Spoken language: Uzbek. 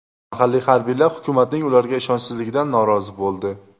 Mahalliy harbiylar hukumatning ularga ishonchsizligidan norozi bo‘ldi.